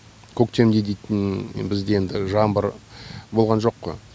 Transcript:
көктемде дейтін бізде енді жаңбыр болған жоқ қой